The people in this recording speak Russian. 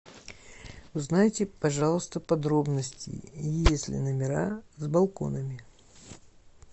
узнайте пожалуйста подробности есть ли номера с балконами